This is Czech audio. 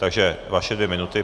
Takže vaše dvě minuty.